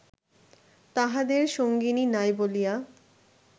তাঁহাদের সঙ্গিনী নাই বলিয়া